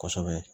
Kosɛbɛ